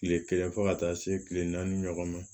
Kile kelen fo ka taa se kile naani ɲɔgɔn ma